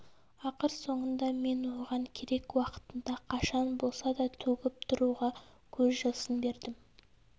ақыр соңында мен оған керек уақытында қашан болса да төгіп тұруға көз жасын бердім